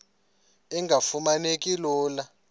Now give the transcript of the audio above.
engafuma neki lula